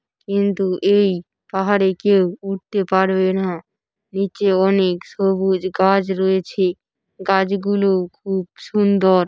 কিন্তু এই পাহাড়ে কেউ উঠতে পারবে না। নিচে অনেক সবুজ গাছ রয়েছে। গাছগুলো খুব সুন্দর।